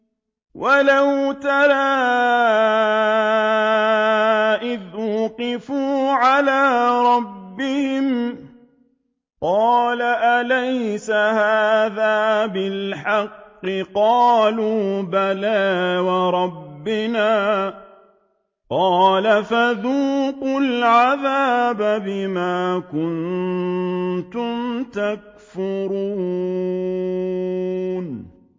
وَلَوْ تَرَىٰ إِذْ وُقِفُوا عَلَىٰ رَبِّهِمْ ۚ قَالَ أَلَيْسَ هَٰذَا بِالْحَقِّ ۚ قَالُوا بَلَىٰ وَرَبِّنَا ۚ قَالَ فَذُوقُوا الْعَذَابَ بِمَا كُنتُمْ تَكْفُرُونَ